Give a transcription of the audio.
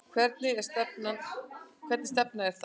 Hvernig stefna er það?